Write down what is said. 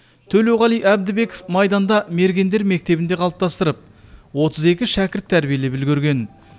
төлеуғали әбдібеков майданда мергендер мектебін қалыптастырып отыз екі шәкірт тәрбиелеп үлгерген